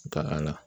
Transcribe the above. Taara a la